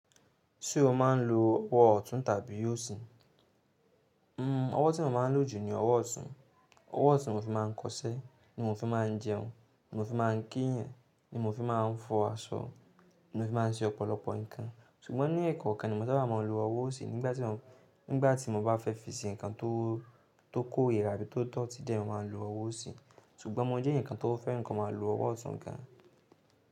Ṣé o máa ń lo ọwọ́ ọ̀tún tàbí òsì? Hmm ọwọ́ tí mo máa ń lò jù ni ọwọ́ ọ̀tún, ọwọ́ ọ̀tún ni mo fi máa ń kọṣẹ́, ni mo fi máa ń jẹun, ni mo fi máa ń kí eeyàn, ni mo fi máa ń fọ aṣọ, ni mo fi máa ń ṣe ọ̀pọ̀lọpọ̀ nǹkan. Ṣùgbọ́n ní ẹ̀ẹ̀kokan ni mo saábà máa ń lo ọwọ́ òsì nígbà tí mo, nígbà tí mo bá fẹ́ fi ṣe nǹkan tó kó rira àbí tó dotí de ni mo máa ń lo ọwọ́ òsì. Ṣùgbọ́n mo jẹ́ eeyan kan tó fẹ́ràn ko máa lo ọwọ́ ọ̀tún gan.